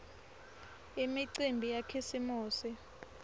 imicimbi yakhisimusi